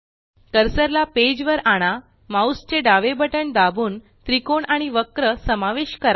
cursor ला page वर आणा माउस चे डावे बटण दाबून त्रिकोण आणि वक्र समावेश करा